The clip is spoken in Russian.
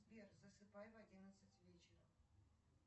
сбер засыпай в одиннадцать вечера